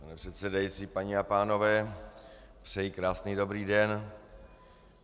Pane předsedající, paní a pánové, přeji krásný dobrý den.